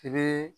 I bɛ